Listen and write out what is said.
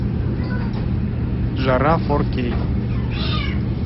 жара фор кей